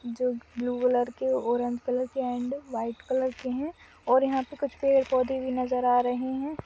जो blue colour के orange colour के एण्ड व्हाइट कलर के है और यह पे कुछ पेड़ पौधे है भी नजर आ रहे है।